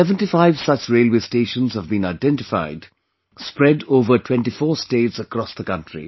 75 such railway stations have been identified spread over 24 states across the country